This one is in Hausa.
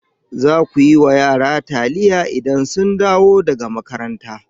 Za ku yi wa yara taliya idan sun dawo daga makaranta.